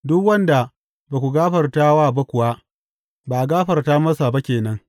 Duk wanda ba ku gafarta wa ba kuwa, ba a gafarta masa ba ke nan.